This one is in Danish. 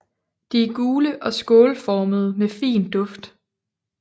De er gule og skålformede med fin duft